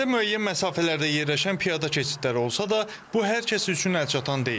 Ərazidə müəyyən məsafələrdə yerləşən piyada keçidləri olsa da, bu hər kəs üçün əlçatan deyil.